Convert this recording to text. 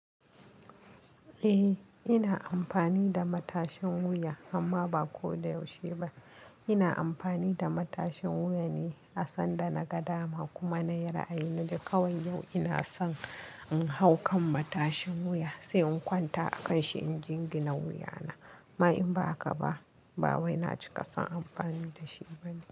Eh ina amfani da matashin wuya amma ba ko da yaushe ba. Ina amfani da matashin wuya ne a sandana gadama kuma na yi ra'ayi na cewa yau ina son in hau kan matashin wuya sai in kwanta a kanshi in jingina wuyana. Ma in ba haka ba, ba wai na cika son amfani da shi bane.